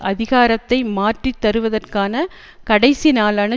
அதிகாரத்தை மாற்றித்தருவதற்கான கடைசி நாளான